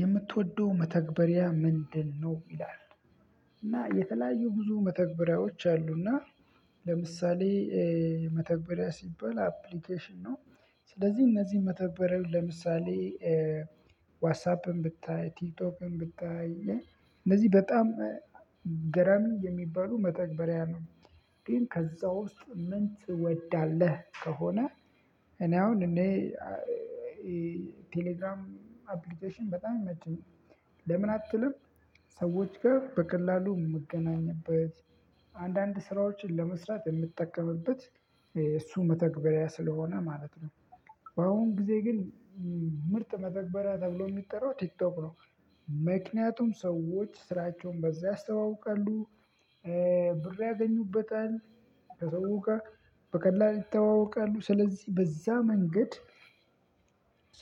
የምትወደው መተግበሪያ ምንድነው? ይላል እና የተለያዩ ብዙ መተግበሪያዎች አሉና። ለምሳሌ መተግበሪያ ሲባል አፕሊኬሽን ነው። ስለዚህ እነዚህን መተግበሪያ ለምሳሌ ዋትሳፕን ብታይ ቲክቶክን ብታይ እነዚህ በጣም ገራሚ የሚባሉ መተግበሪያ ነው። ግን ከዛ ውስጥ ምን ትወዳለህ ከሆነ? እኔ አሁን እኔ ቴሌግራም አፕሊኬሽን በጣም ይመቸኛል። ለምን አትልም? ሰዎች ጋር በቀላሉ የምገናኝበት አንዳንድ ስራዎችን ለመስራት የምጠቀምበት እሱ መተግበሪያ ስለሆነ ማለት ነው። በአሁን ጊዜ ግን ምርጥ መተግበሪያ ተብሎ የሚጠራው ቲክቶክ ነው። ምክንያቱም ሰዎች ስራቸውን በዛ ያስተዋውቃሉ። ብር ያገኙበታል። ከሰው ጋር በቀላሉ ይተዋወቃሉ ስለዚህ በዛ መንገድ።